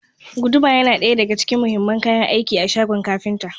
Guduma yana daya daga cikin muhimman kayan aiki a shagon kafinta.